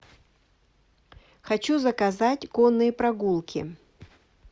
хочу заказать конные прогулки